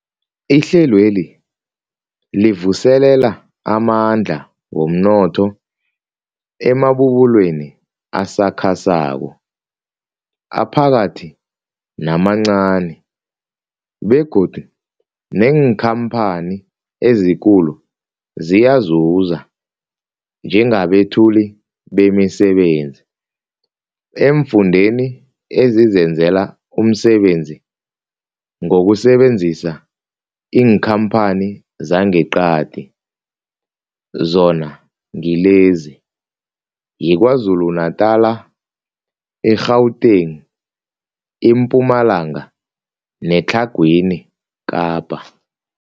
Ihlelweli livuselela amandla womnotho emabubulweni asakhasako, aphakathi namancani begodu neenkhamphani ezikulu ziyazuza njengabethuli bemisebenzi eemfundeni ezizenzela umsebenzi ngokusebenzisa iinkhamphani zangeqadi, zona ngilezi, yiKwaZulu-Natala, i-Gauteng, iMpumalanga neTlhagwini Kapa.